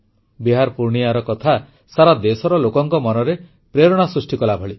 ବିହାର ପୂର୍ଣ୍ଣିୟାର କଥା ସାରା ଦେଶର ଲୋକଙ୍କ ମନରେ ପ୍ରେରଣା ସୃଷ୍ଟି କଲାଭଳି